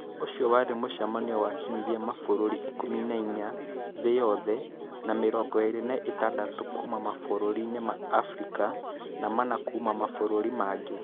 Ũcio warĩ mũcemanio wa wĩkinyie mabũrũri 14 thĩ yothe na 26 kuuma mabũrũriinĩ ma Abirika na 4 kuuma mabũrũri mangĩ.